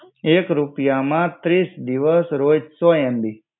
એક રૂપિયામાં ત્રીસ દિવસ રોજ સો MB